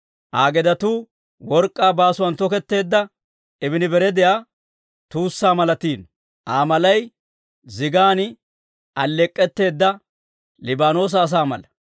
Aa gedetuu work'k'aa baasuwaan toketteedda, ibinabaradiyaa tuussaa malatiino; Aa malay zigan alleek'k'etteedda Liibaanoosa asaa mala.